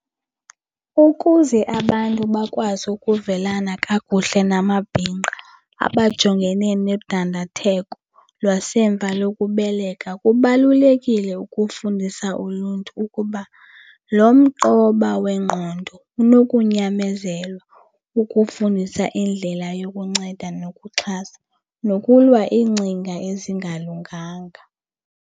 Ukuze abantu bakwazi ukuvelana kakuhle namabhinqa abajongene nodandatheko lwasemva lokubeleka kubalulekile ukufundisa uluntu ukuba lo mqoba wengqondo unokunyamezelwa ukufundisa indlela yokunceda nokuxhasa, nokulwa iingcinga ezingalunganga.